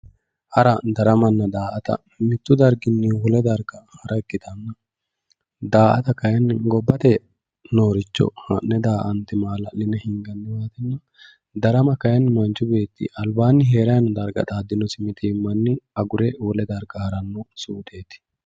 hara daramanna daa"ata mittu darginni wole darga hara ikkitanna daa"ata kayiinni gobbate nooricho ha'ne daa"ante maala'line hinganniwa ikkanna darama kayiinni manchu beetti albaanni heerannowa xaaddinosi mitiimmanni agure wole darga haranno suupheeti